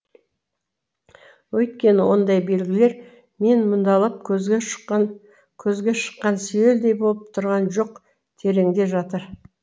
өйткені ондай белгілер мен мұндалап көзге шыққан сүйелдей болып тұрған жоқ тереңде жатыр